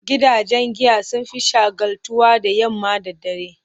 Gidajen giya sun fi shagaltuwa da yamma da dare.